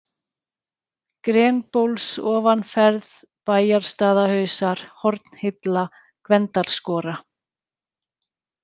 Grenbólsofanferð, Bæjarstaðarhausar, Hornhilla, Gvendarskora